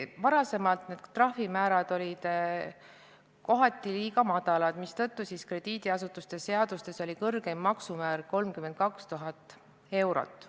Varem olid need trahvimäärad kohati liiga madalad, krediidiasutuste seadustes oli kõrgeim maksumäär 32 000 eurot.